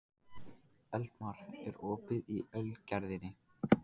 Eldmar, er opið í Ölgerðinni?